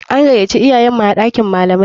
An gayaci iyayenmu a ɗakin malamai.